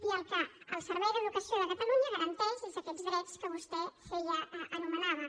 i el que el servei d’educació de catalunya garanteix són aquests drets que vostè anomenava